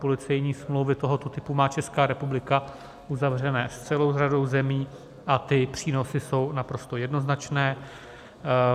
Policejní smlouvy tohoto typu má Česká republika uzavřené s celou řadou zemí a ty přínosy jsou naprosto jednoznačné.